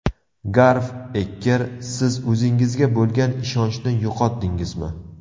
Garv Ekker Siz o‘zingizga bo‘lgan ishonchni yo‘qotdingizmi?